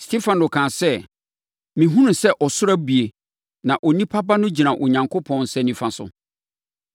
Stefano kaa sɛ, “Mehunu sɛ ɔsoro abue na Onipa Ba no gyina Onyankopɔn nsa nifa so!”